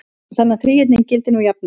Um þennan þríhyrning gildir nú jafnan